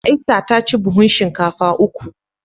Esther ta ci buhun shinkafa uku